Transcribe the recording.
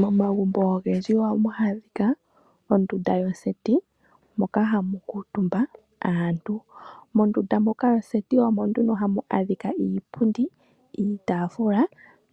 Momagumbo ogendji ohamu adhika ondunda yoseti moka hamu kuutumba aantu. Mondunda muka yoseti omo nduno hamu adhika iipundi, iitaafula